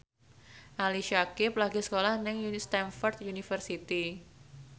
Ali Syakieb lagi sekolah nang Stamford University